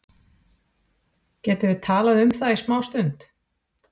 Getum við talað um það í smástund?